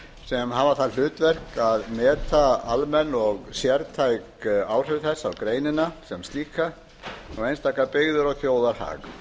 sem hafa það hlutverk að meta almenn og sértæk áhrif þess á greinina sem slíka og einstakar byggðir og þjóðarhag